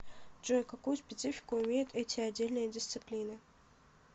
джой какую специфику имеют эти отдельные дисциплины